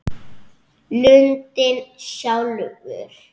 Lundinn sjálfur